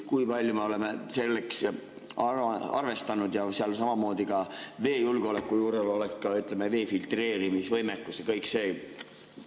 Kui palju me oleme sellega arvestanud, et ka veejulgeoleku juures oleks vee filtreerimise võimekus ja kõik see?